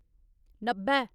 नब्बै